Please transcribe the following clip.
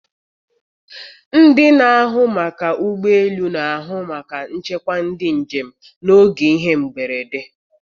Ndị na-ahụ maka ụgbọelu na-ahụ maka nchekwa ndị njem n'oge ihe mberede.